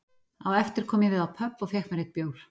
Á eftir kom ég við á pöbb og fékk mér einn bjór